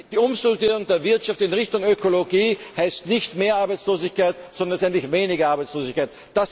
Die Umstrukturierung der Wirtschaft in Richtung Ökologie heißt nicht mehr Arbeitslosigkeit, sondern letztendlich weniger Arbeitslosigkeit.